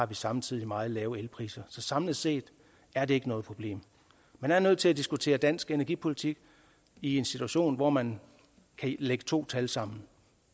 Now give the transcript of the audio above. vi samtidig har meget lave elpriser så samlet set er det ikke noget problem man er nødt til at diskutere dansk energipolitik i en situation hvor man kan lægge to tal sammen